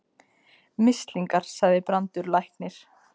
Mislingar, sagði Brandur læknir.